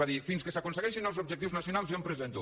va dir fins que s’aconsegueixin els objectius nacionals jo em presento